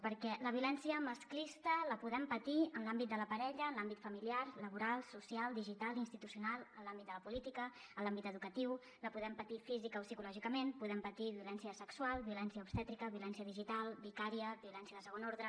perquè la violència masclista la podem patir en l’àmbit de la parella en l’àmbit familiar laboral social digital institucional en l’àmbit de la política en l’àmbit educatiu la podem patir físicament o psicològicament podem patir violència sexual violència obstètrica violència digital vicària violència de segon ordre